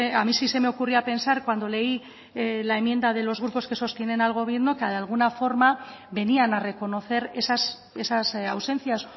a mí sí se me ocurría pensar cuando leí la enmienda de los grupos que sostienen al gobierno que de alguna forma venían a reconocer esas ausencias